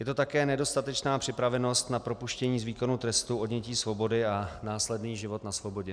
Je to také nedostatečná připravenost na propuštění z výkonu trestu odnětí svobody a následný život na svobodě.